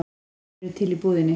Þeir eru til í búðinni.